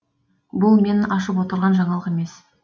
бұл мен ашып отырған жаңалық емес